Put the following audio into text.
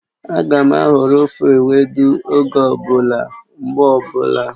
Ága m ahọrọ ofe ewedu oge ọ bụla, mgbe ọbụla